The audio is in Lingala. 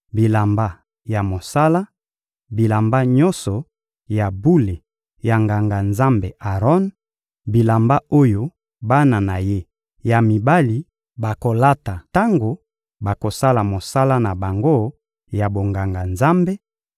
bilamba ya mosala, bilamba nyonso ya bule ya Nganga-Nzambe Aron, bilamba oyo bana na ye ya mibali bakolata tango bakosala mosala na bango ya bonganga-Nzambe,